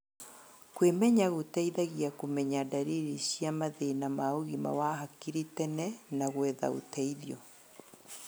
Kwĩmenya gũteithagia kũmenya ndariri cia mathĩna ma ũgima wa hakiri tene na gwetha ũteithio.